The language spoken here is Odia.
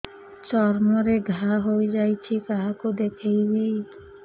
ଚର୍ମ ରେ ଘା ହୋଇଯାଇଛି କାହାକୁ ଦେଖେଇବି